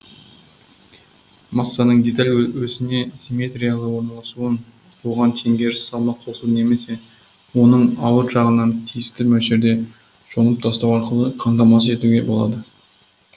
массаның деталь осіне симметриялы орналасуын оған теңгеріс салмақ қосу немесе оның ауыр жағынан тиісті мөлшерде жонып тастау арқылы қамтамасыз етуге болады